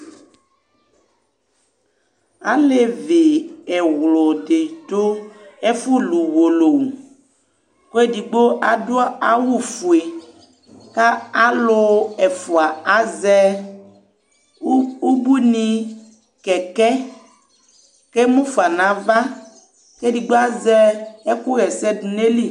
ɑlévi ẽřũɗi ɗu ɛfũlụ ʊwọlówʊ kɛɗigbọ ɑɗụ ɑwʊfụɛ ɑlụ ȩfụɑ ɑzẽ ωbụiɲikɛkɛ kɛmũfɑṅɑvɑ kɛɗigbọɑzɛ ẽkũhɛsɛ ɗụɲɑyili